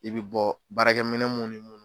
I bɛ bɔ baarakɛminɛ mun ni mun